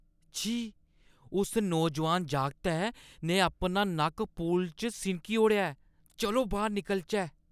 छी! उस नौजवान जागतै ने अपना नक्क पूल च सिनकी ओड़ेआ ऐ। चलो बाह्‌र निकलचै।